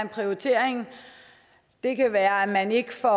prioritering det kan være at man ikke får